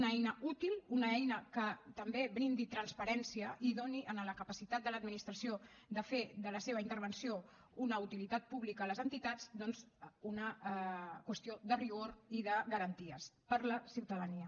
una eina útil una eina que també brindi transparència i doni a la capacitat de l’administració de fer de la seva intervenció una utilitat pública a les entitats doncs una qüestió de rigor i de garanties per a la ciutadania